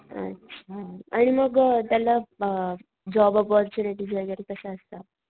अच्छा आणि मग त्याला अ जॉब ऑपॉर्च्युनिटीस वैगेरे कस असता?